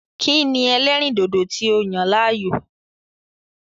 Kí ni ẹlẹ́rìndòdò tí o yàn láàyò?